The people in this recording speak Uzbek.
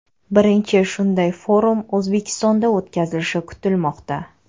Birinchi shunday forum O‘zbekistonda o‘tkazilishi kutilmoqda.